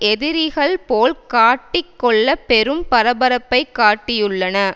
எதிரிகள் போல் காட்டிக் கொள்ள பெரும் பரபரப்பை காட்டியுள்ளன